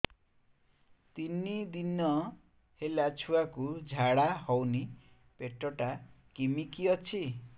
ତିନି ଦିନ ହେଲା ଛୁଆକୁ ଝାଡ଼ା ହଉନି ପେଟ ଟା କିମି କି ଅଛି